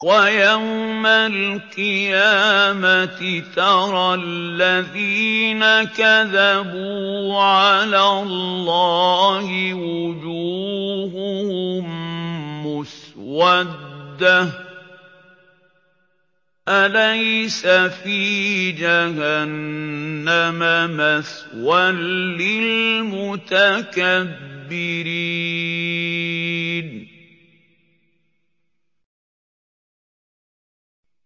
وَيَوْمَ الْقِيَامَةِ تَرَى الَّذِينَ كَذَبُوا عَلَى اللَّهِ وُجُوهُهُم مُّسْوَدَّةٌ ۚ أَلَيْسَ فِي جَهَنَّمَ مَثْوًى لِّلْمُتَكَبِّرِينَ